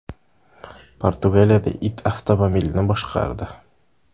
Portugaliyada it avtomobilni boshqardi .